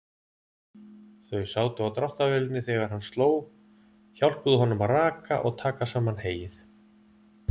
Þau sátu á dráttarvélinni þegar hann sló, hjálpuðu honum að raka og taka saman heyið.